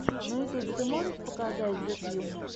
на ютубе ты можешь показать зе кью